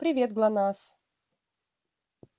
привет гланасс